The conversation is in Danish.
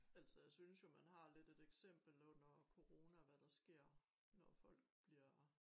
Altså jeg synes jo man har lidt et eksempel under corona hvad der sker når folk bliver